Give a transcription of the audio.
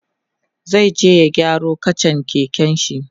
zai je ya gyaro kachan keken shi